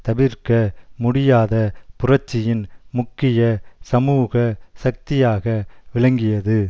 தவிர்க்க முடியாத புரட்சியின் முக்கிய சமூக சக்தியாக விளங்கியது